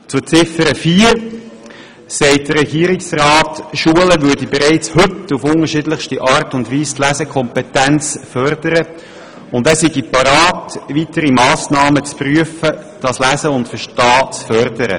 Zu Ziffer 4 sagt der Regierungsrat, Schulen würden bereits heute auf unterschiedlichste Art die Lesekompetenz fördern, und er sei bereit, weitere Massnahmen zu prüfen, um das Lesen und Verstehen zu fördern.